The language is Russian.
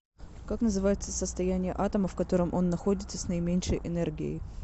как называется состояние атома в котором он находится с наименьшей энергией